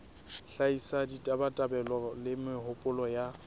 hlahisa ditabatabelo le mehopolo ya